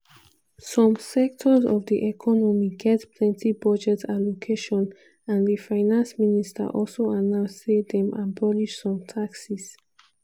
some sectors of di economy get plenti budget allocation and di finance minister also announce say dem abolish some taxes.